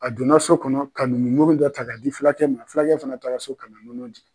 A donna so kɔnɔ ka numun nɔnɔ da ta ka di fulakɛ ma, fulakɛ fana taara so ka na nɔnɔ di.